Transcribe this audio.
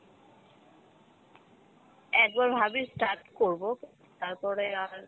একবার ভাবি start করবো তারপরে আর